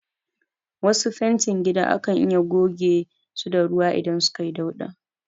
Wasu fentin gida akan iya goge su da ruwa idan suka yi dauɗa